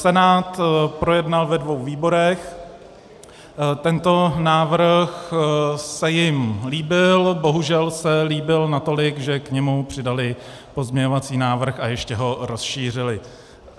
Senát projednal ve dvou výborech, tento návrh se jim líbil, bohužel se líbil natolik, že k němu přidali pozměňovací návrh a ještě ho rozšířili.